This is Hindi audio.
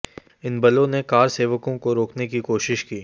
इन बलों ने कारसेवकों को रोकने की कोशिश की